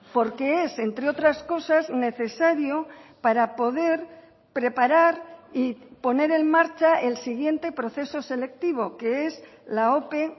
porque es entre otras cosas necesario para poder preparar y poner en marcha el siguiente proceso selectivo que es la ope